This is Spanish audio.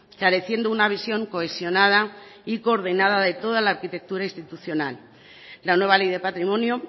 careciendo una visión cohesionada y coordinada de toda la arquitectura institucional la nueva ley de patrimonio